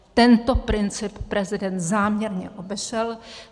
Tento princip prezident záměrně obešel.